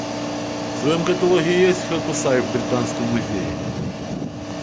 в твоем каталоге есть хокусай в британском музее